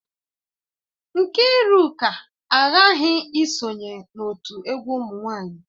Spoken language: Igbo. Nkiruka aghaghi isonye n'otu egwu umunwanyi.